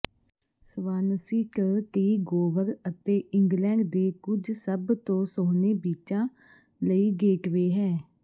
Swansea ਟ ਟੀ Gower ਅਤੇ ਇੰਗਲੈਂਡ ਦੇ ਕੁਝ ਸਭ ਤੋਂ ਸੋਹਣੇ ਬੀਚਾਂ ਲਈ ਗੇਟਵੇ ਹੈ